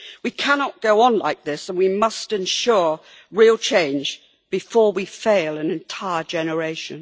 We cannot go on like this, and we must ensure real change before we fail an entire generation.